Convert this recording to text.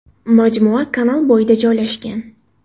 Majmua kanal bo‘yida joylashgan.